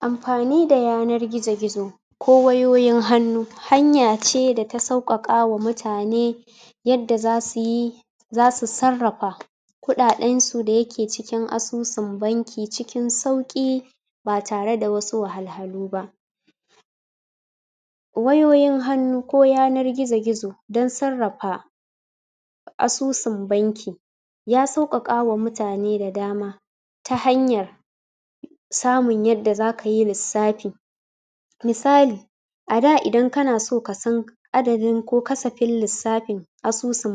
Amfani da yanar gizo-gizo ko wayoyin hannu hanya ce da ta sauƙaƙa wa mutane yadda za su yi za su sarrafa kuɗaɗensu da yake cikin asusun banki cikin sauƙi. ba tare da wasu wahalhalu ba wayoyin hannu ko yanar gizo-gizo don sarrafa asusun banki ya sauƙaƙa ma mutane da dama ta hanyar samun yadda za ka yi lissafi misali a da idan kana son ka san adadin ko kasafin lissafin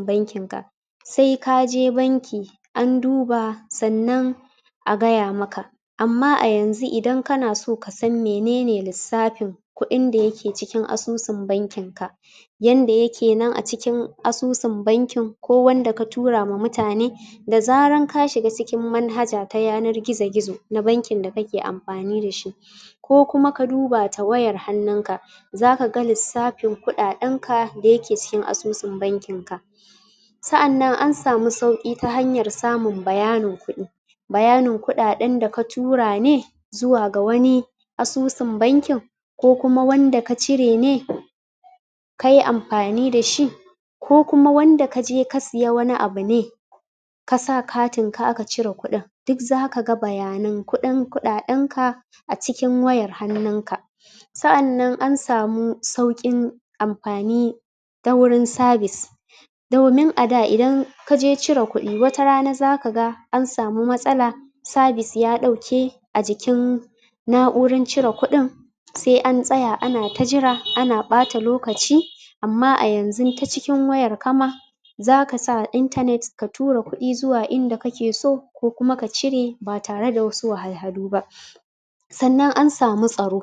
bankinka, sai ka je banki an duba sannan a gaya maka, amma a yanzu idan kana son ka san mene ne lissafin kuɗin da yake cikin asusun bankinka yanda yake nan a cikin asusun bankin ko wanda ka tura wa mutane da zaran ka shiga cikin manhaja ta yanar gizo-gizo na bankin da kake amfani da shi ko kuma ka duba ta wayar hannunka za ka ga lissafin kuɗaɗenka da yake cikin asusun bankinka sa'annan an samu sauƙi ta hanyar samun bayanin kuɗi bayanin da ka tura ne zuwa ga wani asusun bankin ko kuma wanda ka cire ne kai amfani da shi ko kuma wanda ka siya wani abu ne ka sa katinka a ka cire kuɗin duk zaka ga bayanan kuɗin kuɗaɗenka a cikin wayar hannunka sa'annan an samu sauƙin amfani ta wurin sabis domin ada idan ka je cire kuɗi wata rana za ka ga an samu matsala sabis ya ɗauke a jikin na'urar cire kuɗin sai an tsaya ana ta jira ana ɓata lokaci amma a yanzu ta cikin wayarka ma za ka sa inatnet ka tura kuɗi zuwa inda kake so ko kuma ka cire ba tare da wasu wahalhalu ba sannan ana samu tsaro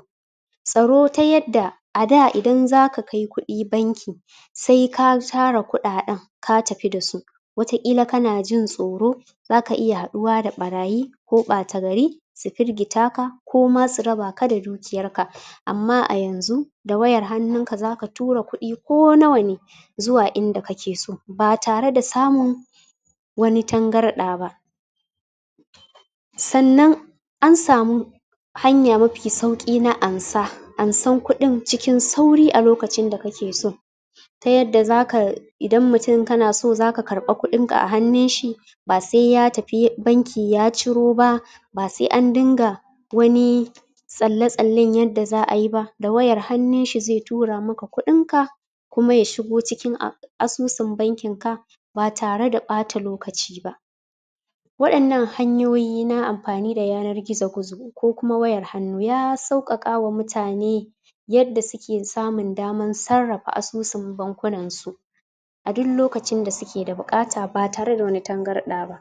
tsaro ta yadda a da idan za ka kai kuɗi banki sai ka tara kuɗaɗen ka tafi da su wataƙila kana jin tsoro za ka iya haɗuwa da ɗarayi ko ɗata gari su firgita ka ko ma su raba ka da dukiyarka amma a yanzu a wayar hannunka za ka tura kuɗi ko nawa ne zuwa inda kake so ba tare da samun wani tangarɗa ba sannan an samu hanya mafi saui na amsa, ansar kuɗin cikin sauri a sadda kake so ta yadda za ka idan mutum kana so za ka karɓi kuɗinka a hannunshi ba sai ya tafi banki ya ciro ba ba sai an dinga wani tsalle-tsallen yadda za a yi ba, da wayar hannunshi zai tura maka kuɗinka kuma ya shigo cikin asusaun bankinka ba tare da ɓata lokaci ba wa'innan hanyoyi na amfani da yanar gizo-gizo ko kuma wayar hannu ya sauƙaƙa wa mutane yadda suke samun damar sarrafa asusun bankunansu a duk lokacin da suke da buƙata ba tare da wani tangarɗa ba.